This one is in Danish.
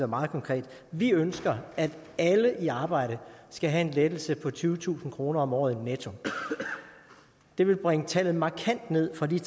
meget konkret vi ønsker at alle i arbejde skal have en lettelse på tyvetusind kroner om året netto det ville bringe tallet markant ned fra de